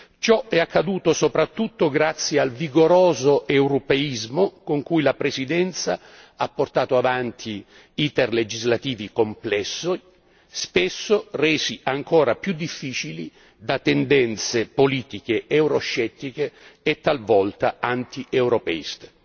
Ciò è accaduto soprattutto grazie al vigoroso europeismo con cui la Presidenza ha portato avanti iter legislativi complessi, spesso resi ancora più difficili da tendenze politiche euroscettiche e talvolta antieuropeiste.